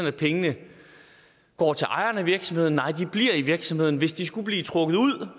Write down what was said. at pengene går til ejeren af virksomheden nej de bliver i virksomheden hvis de skulle blive trukket ud